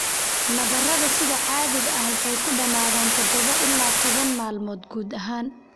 Nabarrada sida caadiga ah waxay ku dhamaadaan todoba ila toban maalmood gudahood.